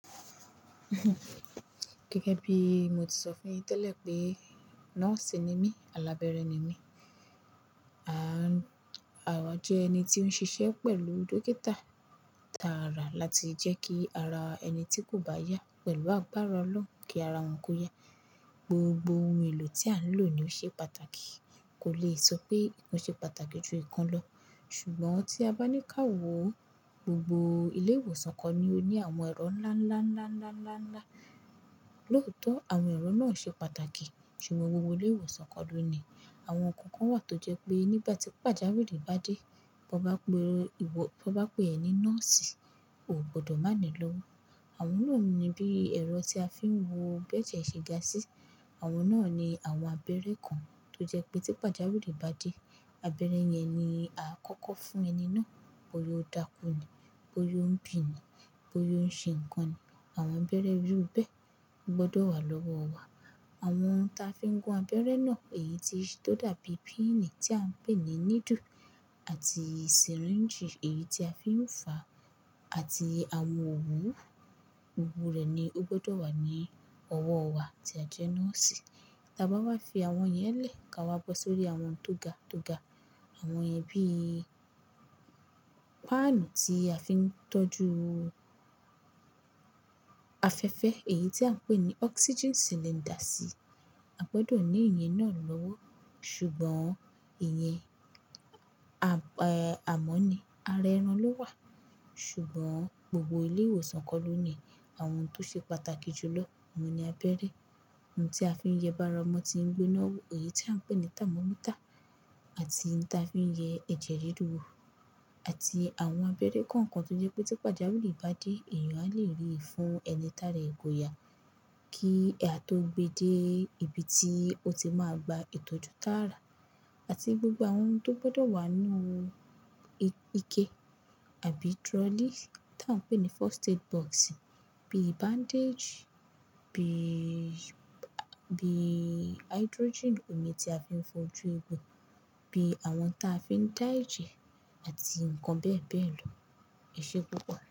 Gẹ́gẹ́bí mọ ti sọ fún yín tẹ́lẹ̀ pé, nọ́ọ̀sì ni mí, alábẹ́ẹ́rẹ̀ ni mí. Mọ jẹ́ ẹni tí ó ń ṣiṣẹ́ pẹ̀lú dókítà tààrà láti jẹ́ kí ara ẹni tí kò bá yá, pẹ̀lú agbára Ọlọ́run kí ara wọn kó yá. Gbogbo ohun èlò tí a ń lò ni ó ṣe pàtàkì. Kò lè sọ pé nkán ṣe pàtàkì ju nkán lọ. Ṣùgbọ́n tí a bá ní ká wo gbogbo ilé ìwòsàn kò ni ó ní àwọn ẹ̀rọ ńlá, ńlá, ńlá, ńlá, ńlá, ńlá, lóòótọ́ àwọn ẹ̀rọ náà ṣe pàtàkì, ṣùgbọ́n gbogbo ilé ìwòsàn ko ló ní i. Àwọn ǹkan kan wà tó jẹ́ pé nígbà tí pàjáwìrì bá dé, bó bá pe ẹ ní nọ́ọ̀sì, ò gbọdọ̀ má ni lọ́wọ́. Àwọn náà ni bí ẹ̀rọ tí a fi ń wo bẹ́je ṣe ga sí. Àwọn náà ni àwọn abẹ́rẹ́ kan tó jẹ́ pé tí pàjáwìrì bá dé, abẹ́rẹ́ yẹn ni a kọ́kọ́ fún ẹni náà bóyá ó dákú ni, bóyá ó ń bì ni, bóyá ó ń ṣe ǹkan ni. Àwọn abẹ́rẹ́ irú bẹ́ẹ̀ gbọdọ̀ wà lọ́wọ́ wa. Àwọn tí a fi ń gun abẹ́rẹ́ náà, èyí tó dàbí píìnì tí à ń pè ní needle àti syringe èyí tí a fi ń fa àti àwọn òwú, gbogbo rẹ̀ ni ó gbọdọ̀ wà ní ọwọ́ wa tí a jẹ́ nọ́ọ̀sì. Ta bá wá fi àwọn yẹn lẹ̀ ká wa bọ́ sórí àwọn tó ga, tó ga. Àwọn yẹn bií, páànù tí a fi ń tọ́jú afẹ́fẹ́ èyí tí à ń pè ní oxygen cylinders. A gbọdọ̀ ní ìyẹn náà lọ́wọ́. Ṣùgbọ́n ìyẹn àmọ́ ni ara ẹran ló wà. Ṣùgbọ́n gbogbo ilé ìwòsàn kò ló ní àwọn ohun tó ṣe pàtàkì jù lọ. Òun ni abẹ́rẹ́, ohun tí a fi ń yẹ bára ọmọ tí ń gboná wò, èyí tí à ń pè ní thermometer àti ǹ ta fi ń yẹ ẹ̀jẹ̀ rere wò àti àwọn abẹ́rẹ́ kọ̀ọ̀kan tó jẹ́ pé tí pàjáwìrì bá dé, èèyàn a lè rí ìfun ẹni tààrà é koyà kí a tó gbé dé ibi tí ó ti máa gba ìtọ́jú tààrà àti gbogbo àwọn ohun tó gbọdọ̀ wà nínú ike àbí trolley tí à ń pè ní first aid box bí i bandage, bí i hydrogen, omi tí a fi ń fojú eegun, bíi àwọn tí a fi ń dá ejẹ àti ǹkan bẹ́ẹ̀ bẹ́ẹ̀ lọ. Ẹ ṣé púpọ̀.